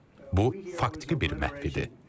Bu faktiki bir məhv idi.